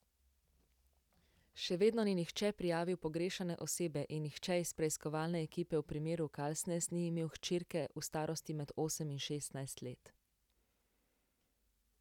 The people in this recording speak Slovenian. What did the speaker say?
Še vedno ni nihče prijavil pogrešane osebe in nihče iz preiskovalne ekipe v primeru Kalsnes ni imel hčerke v starosti med osem in šestnajst let.